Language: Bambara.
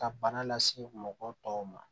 Ka bana lase mɔgɔ tɔw ma